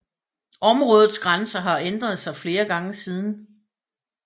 Områdets grænser har ændret sig flere gange siden